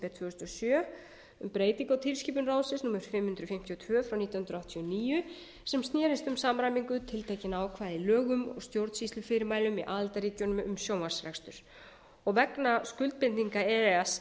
þúsund og sjö um breytingu á tilskipun ráðsins númer fimm hundruð fimmtíu og tvö nítján hundruð áttatíu og níu sem snerist um samræmingu tiltekinna ákvæða í lögum og stjórnsýslufyrirmælum í aðildarríkjunum um sjónvarpsrekstur vegna skuldbindinga e e s